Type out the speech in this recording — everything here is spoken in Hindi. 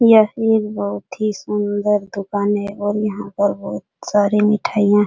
यह एक बहुत ही सुंदर दुकान है और यहां पर बहुत सारी मिठाइयां --